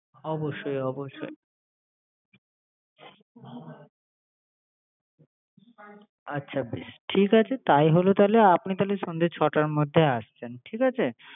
অবশ্যই “অবশ্যই আচ্ছা ঠিক আছে তাই হবে তাইলে, আপনি তাইলে সন্ধ্যা ছয়টার মধ্যে আসেবেন। ঠিক আছে